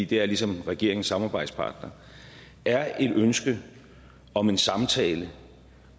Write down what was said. det er ligesom regeringens samarbejdspartner er et ønske om en samtale